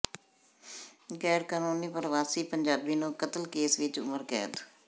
ਗੈਰਕਾਨੂੰਨੀ ਪਰਵਾਸੀ ਪੰਜਾਬੀ ਨੂੰ ਕਤਲ ਕੇਸ ਵਿਚ ਉਮਰ ਕੈਦ